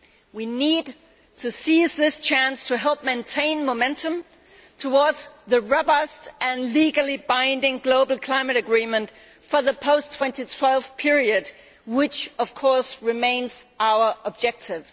We need to seize this chance to help maintain momentum towards the robust and legally binding global climate agreement for the post 2012 period which, of course, remains our objective.